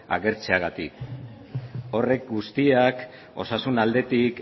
agertzeagatik horrek guztiak osasun aldetik